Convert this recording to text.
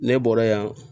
Ne bɔra yan